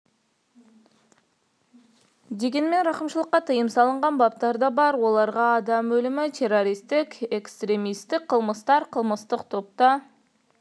дегенмен рақымшылыққа тыйым салынған баптар да бар оларға адам өлімі террористік және экстремистік қылмыстар қылмыстық топта